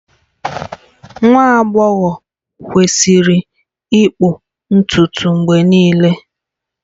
Nwa agbọghọ kwesịrị ịkpụ ntutu mgbe niile